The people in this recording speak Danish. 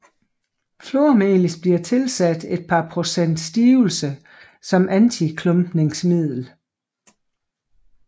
Flormelis bliver tilsat et par procent stivelse som antiklumpningsmiddel